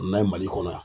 N'an ye mali kɔnɔ yan